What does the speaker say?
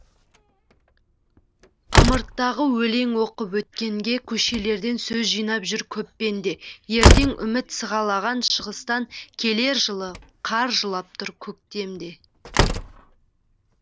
ымырт тағы өлең оқып өткенге көшелерден сөз жинап жүр көп пенде ертең үміт сығалаған шығыстан келер жылы қар жылап тұр көктемде